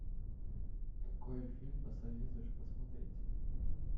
какой фильм посоветуешь посмотреть